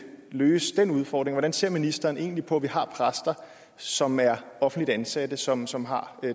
løse den udfordring hvordan ser ministeren egentlig på at vi har præster som er offentligt ansatte som som har